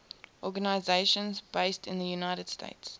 organizations based in the united states